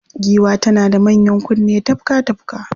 Giwa tana da manyan kunne tafka-tafka